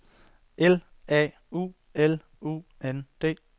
L A U L U N D